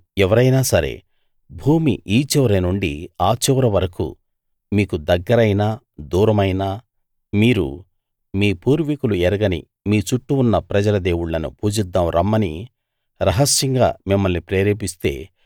ఎవరైనా సరే భూమి ఈ చివరి నుండి ఆ చివర వరకూ మీకు దగ్గరైనా దూరమైనా మీరు మీ పూర్వీకులు ఎరగని మీ చుట్టూ ఉన్న ప్రజల దేవుళ్ళను పూజిద్దాం రమ్మని రహస్యంగా మిమ్మల్ని ప్రేరేపిస్తే